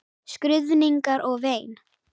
Skruðningar og vein.